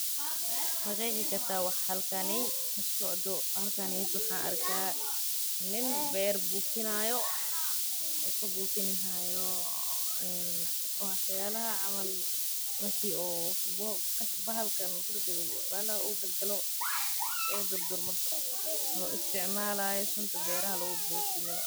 Ma qeexi kartaa waxaa halkani ka socda, halkani waaxan arkaa nin beer bufiinayo o kabufinahayo ee wax yalaaha camal marki o bahal u galo ama u kudagdaggo ee bahasha ee dur dur mato o isticmaalayo suntaa beraha lagu bufiiyo.